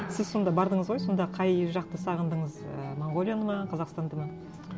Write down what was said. сіз сонда бардыңыз ғой сонда қай жақты сағындыңыз ы монғолияны ма қазақстанды ма